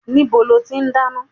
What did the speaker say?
Ibo lo ti dáná?